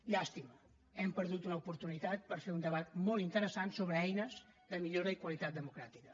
llàstima hem perdut una oportunitat per fer un debat molt interessant sobre eines de millora i qualitat democràtica